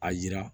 A yira